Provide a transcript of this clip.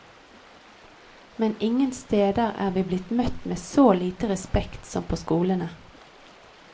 Men ingen steder er vi blitt møtt med så lite respekt som på skolene.